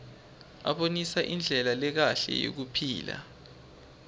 abonisa indlela lekahle yekuphila